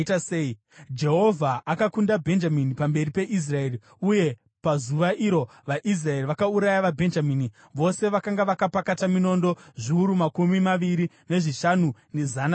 Jehovha akakunda Bhenjamini pamberi peIsraeri, uye pazuva iro vaIsraeri vakauraya vaBhenjamini, vose vakanga vakapakata minondo zviuru makumi maviri nezvishanu nezana rimwe chete.